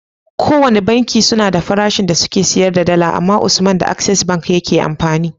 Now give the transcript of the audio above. Kowane banki suna da farashin da suke siyar da dala amma usman da access bank yake amfani